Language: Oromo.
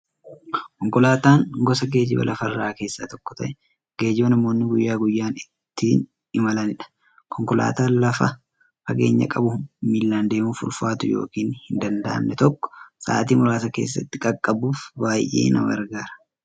Konkolaataan gosa geejjiba lafarraa keessaa tokko ta'ee, geejjiba namoonni guyyaa guyyaan ittiin imalaniidha. Konkolaataan lafa fageenya qabu, miillan deemuuf ulfaatu yookiin hin danda'amne tokko sa'aatii muraasa keessatti qaqqabuuf baay'ee nama gargaara.